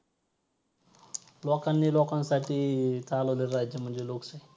तर ते मग अ त्यांचं अ ते वारल्या नंतर त्यांना हे पिंड दान करण हे करण ते करण काय अर्थ नाय राहत ना त्या गोष्टी मध्ये.